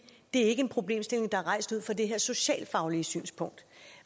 det er ikke en problemstilling der er rejst ud fra det her socialfaglige synspunkt